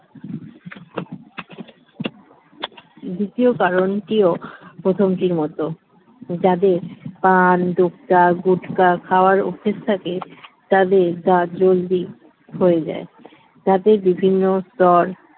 দ্বিতীয় কারণটিও প্রথমটির মতো যাদের পান দুক্তা গুটখা খাওয়ার অভ্যাস থাকে তাদের দাঁত জলদি ক্ষয়ে যায় দাঁতের বিভিন্ন স্তর